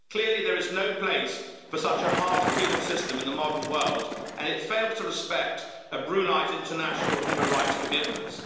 Clearly, there is no place for such a harsh penal system in the modern world and it fails to respect Brunei's international human rights commitments.